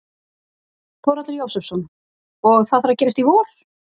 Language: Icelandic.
Þórhallur Jósefsson: Og það þarf að gerast í vor?